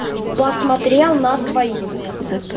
посмотрел на свои